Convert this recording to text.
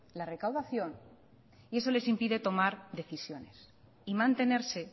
la recaudación y eso les impide tomar decisiones y mantenerse